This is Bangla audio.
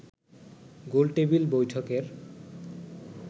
গোলটেবিল বৈঠকের